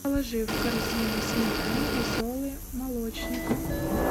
положи в корзину сметана веселый молочник